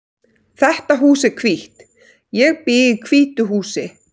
Þetta hús er hvítt. Ég bý í hvítu húsi.